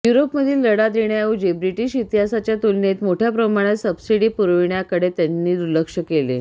युरोपमधील लढा देण्याऐवजी ब्रिटीश इतिहासाच्या तुलनेत मोठ्या प्रमाणात सबसिडी पुरविण्याकडे त्यांनी दुर्लक्ष केले